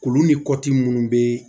Olu ni kɔti minnu bɛ